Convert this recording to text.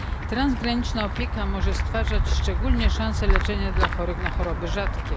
Transgraniczna opieka może stwarzać szczególnie szansę na leczenie osób chorych na choroby rzadkie.